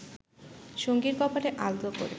সঙ্গীর কপালে আলতো করে